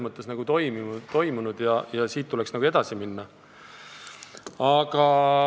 Õnneks on see täna olemas ja siit tuleks edasi minna.